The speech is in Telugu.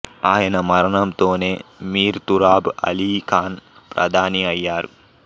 ఆయన మరణంతోనే మీర్ తురాబ్ అలీ ఖాన్ ప్రధాని అయ్యారు